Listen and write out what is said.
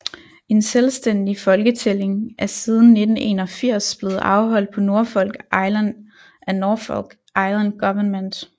En selvstændig folketælling er siden 1981 blevet afholdt på Norfolk Island af Norfolk Island Government